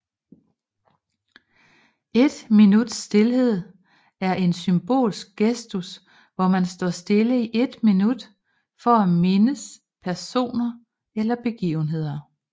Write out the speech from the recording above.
Et minuts stilhed er en symbolsk gestus hvor man står stille i et minut for at mindes personer eller begivenheder